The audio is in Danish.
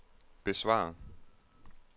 besvar